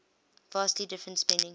vastly different spending